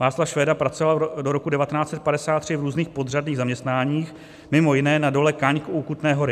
Václav Švéda pracoval do roku 1953 v různých podřadných zaměstnáních, mimo jiné na dole Kaňk u Kutné Hory.